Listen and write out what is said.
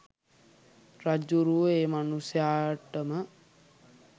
රජ්ජුරුවෝ ඒ මනුස්සයාටම